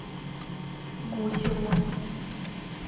гусеву